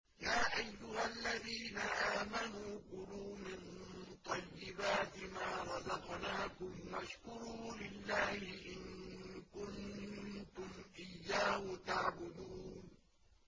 يَا أَيُّهَا الَّذِينَ آمَنُوا كُلُوا مِن طَيِّبَاتِ مَا رَزَقْنَاكُمْ وَاشْكُرُوا لِلَّهِ إِن كُنتُمْ إِيَّاهُ تَعْبُدُونَ